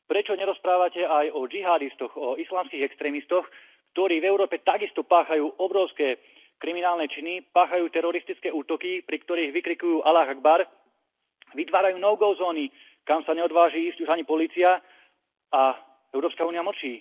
Prečo nerozprávate aj o džihádistoch, o islamských extrémistoch, ktorí v Európe takisto páchajú obrovské kriminálne činy, páchajú teroristické útoky, pri ktorých vykrikujú vytvárajú zóny, kam sa neodváži ísť už ani polícia, a Európska únia mlčí.